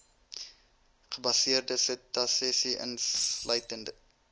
gebaseerde setasese insluitende